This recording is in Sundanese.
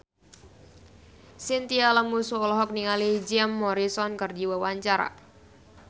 Chintya Lamusu olohok ningali Jim Morrison keur diwawancara